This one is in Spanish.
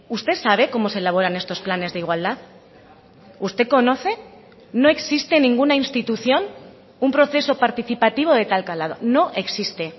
usted sabe cómo se elaboran estos planes de igualdad usted conoce no existe en ninguna institución un proceso participativo de tal calado no existe